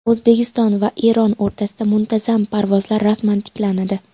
O‘zbekiston va Eron o‘rtasida muntazam parvozlar rasman tiklanadi.